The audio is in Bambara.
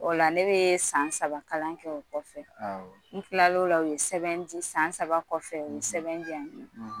O la ne bɛ san saba kalan kɛ o kɔfɛ awɔ n tilala ola u ye sɛbɛn di san saba kɔfɛ u ye sɛbɛn diyan